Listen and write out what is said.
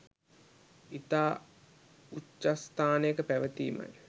ඉතා උච්චස්ථානයක පැවතීමයි.